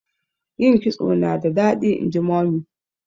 yin kitso nada dadi inji mummy